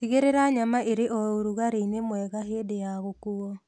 Tĩgĩrĩra nyama ĩrĩ o ũrugarĩinĩ mwega hĩndĩ ya gũkuo